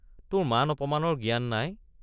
তোৰ মান অপমানৰ জ্ঞান নাই।